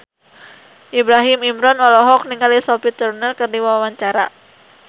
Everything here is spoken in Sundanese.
Ibrahim Imran olohok ningali Sophie Turner keur diwawancara